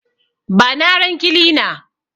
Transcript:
Bani aron kilina